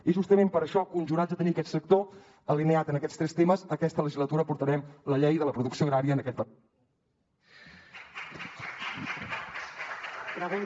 i justament per això conjurats a tenir aquest sector alineat en aquests tres temes aquesta legislatura portarem la llei de la producció agrària en aquest parlament